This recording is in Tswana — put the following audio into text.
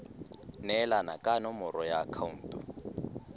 neelana ka nomoro ya akhaonto